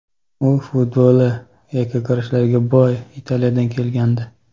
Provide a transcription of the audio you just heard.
U futboli yakkakurashlarga boy Italiyadan kelgandi.